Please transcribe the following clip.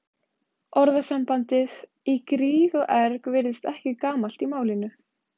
Orðasambandið í gríð og erg virðist ekki gamalt í málinu.